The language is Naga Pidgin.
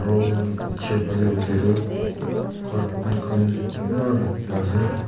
uuuh peche phale hoile tu cartoon khan kunba rakhikena ase.